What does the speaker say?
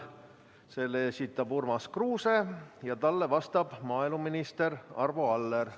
Selle esitab Urmas Kruuse ja talle vastab maaeluminister Arvo Aller.